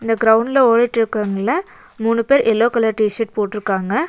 க்ரௌண்ட்ல ஓடிட்ருக்கவங்கள்ள மூணு பேர் எல்லோ கலர் டிஷர்ட் போட்ருக்காங்க.